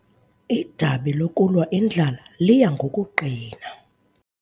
Idabi lokulwa indlala liya ngokuqina.